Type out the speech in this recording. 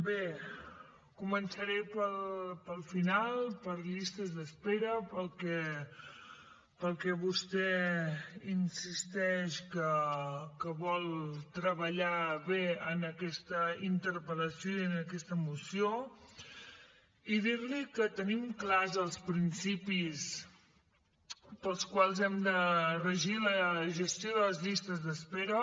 bé començaré pel final per llistes d’espera pel que vostè insisteix que vol treballar bé en aquesta interpel·lació i en aquesta moció i dir li que tenim clars els principis pels quals hem de regir la gestió de les llistes d’espera